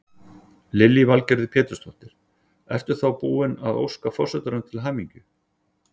Lillý Valgerður Pétursdóttir: Ert þú búin að óska forsetanum til hamingju?